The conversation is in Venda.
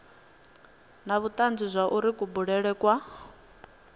na vhutanzi zwauri kubulele kwa